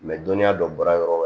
dɔnniya dɔ bɔra yɔrɔ wɛrɛ yɔrɔ